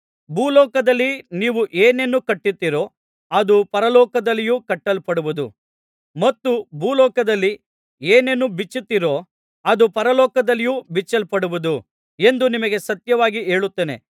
ಭೂಲೋಕದಲ್ಲಿ ನೀವು ಏನೇನು ಕಟ್ಟುತ್ತೀರೋ ಅದು ಪರಲೋಕದಲ್ಲಿಯೂ ಕಟ್ಟಲ್ಪಡುವುದು ಮತ್ತು ಭೂಲೋಕದಲ್ಲಿ ಏನೇನು ಬಿಚ್ಚುತ್ತೀರೋ ಅದು ಪರಲೋಕದಲ್ಲಿಯೂ ಬಿಚ್ಚಲ್ಪಡುವುದು ಎಂದು ನಿಮಗೆ ಸತ್ಯವಾಗಿ ಹೇಳುತ್ತೇನೆ